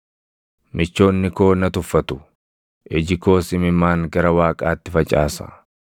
Michoonni koo na tuffatu; iji koos imimmaan gara Waaqaatti facaasa;